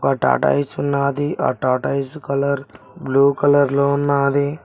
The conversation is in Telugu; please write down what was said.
వ టార్టాయిస్ ఉన్నాది ఆ టార్టాయిస్ కలర్ బ్లూ కలర్ లో ఉన్నాది.